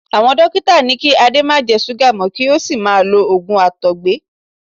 Àwọn dókítà ní kí Ade má jẹ súgà mọ́ kí ó sì máa lo òògùn àtọ̀gbẹ.